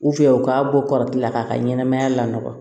u k'a bɔ kɔrɔkɛ la k'a ka ɲɛnɛmaya la nɔgɔ